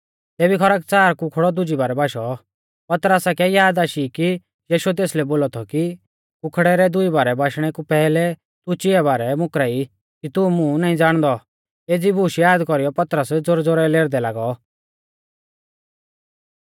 तेबी खरकच़ार कुखड़ौ दुजी बारै बाशौ पतरसा कै याद आशी कि यीशुऐ तेसलै बोलौ थौ कि कुखड़ै रै दुई बारै बाशणै कु पैहलै तू चिआ बारै मुकरा ई कि तू मुं नाईं ज़ाणदौ एज़ी बूश याद कौरीयौ पतरस ज़ोरै ज़ोरै लेरदै लागौ